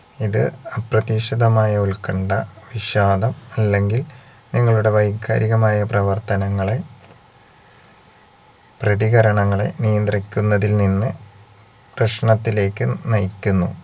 ഇത് അപ്രതീക്ഷിതമായ ഉൽക്കണ്ഠ വിഷാദം അല്ലെങ്കിൽ നിങ്ങളുടെ വൈകാരികമായ പ്രവർത്തനങ്ങളെ പ്രതികരണങ്ങളെ നിയന്ത്രിക്കുന്നതിൽ നിന്ന് പ്രശ്നത്തിലേക്ക് നയിക്കുന്നു